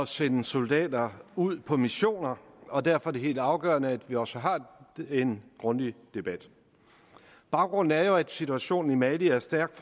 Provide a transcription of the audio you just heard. sende soldater ud på missioner og derfor er det helt afgørende at vi også har en grundig debat baggrunden er jo at situationen i mali er stærkt